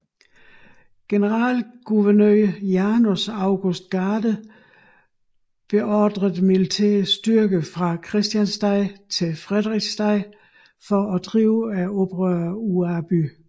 Generalguvernør Janus August Garde beordrede militære styrker fra Christiansted til Frederiksted for at drive oprørerne ud af byen